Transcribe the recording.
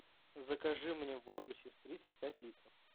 закажи мне воду сестрица пять литров